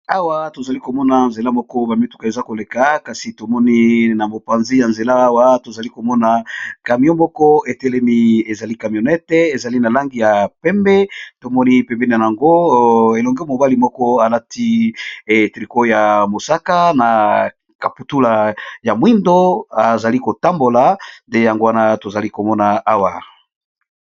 Awa tozali komona nzela moko ba mituka eza koleka kasi tomoni na mopanzi ya nzela awa tozali komona kamion moko etelemi ezali kamionete ezali na langi ya pembe tomoni pembe na yango elenge mobali moko alati triko ya mosaka na kaputula ya mwindo azali ko tambola nde yango wana tozali komona awa.